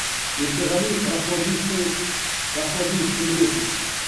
еркеғали рахмадиевті білесіз